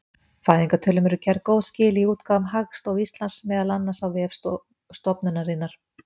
Fæðingartölum eru gerð góð skil í útgáfum Hagstofu Íslands, meðal annars á vef stofnunarinnar.